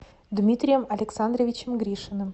дмитрием александровичем гришиным